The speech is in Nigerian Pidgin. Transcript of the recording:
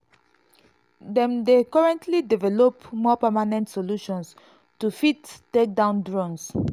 dem dey currently develop more permanent solutions to fit take down drones.